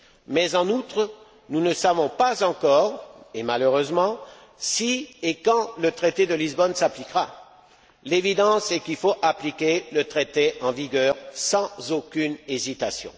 Mais en outre, nous ne savons pas encore et malheureusement si et quand le traité de Lisbonne s'appliquera. Ce qui est évident, c'est qu'il faut appliquer le traité en vigueur sans aucune hésitation.